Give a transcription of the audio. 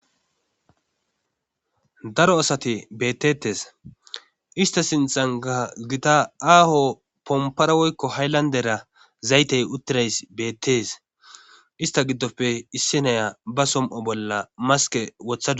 Daro asate beettettes ista sintxanka gita aaho pomparawoykko hayllandera zaytey uttirays beettees ista giddofe issi naya ba som'o bolla maske wothae.